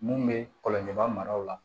Mun bɛ kɔlɔjɛbaga maraw la